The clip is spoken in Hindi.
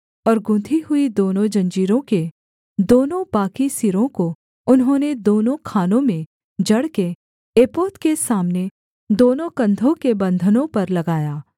और गूँथी हुई दोनों जंजीरों के दोनों बाकी सिरों को उन्होंने दोनों खानों में जड़ के एपोद के सामने दोनों कंधों के बन्धनों पर लगाया